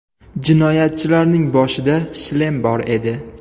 Jinoyatchilarning boshida shlem bor edi.